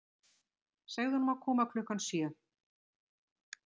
Segðu honum að koma klukkan sjö.